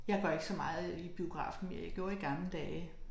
Jeg går ikke så meget i biografen mere jeg gjorde i gamle dage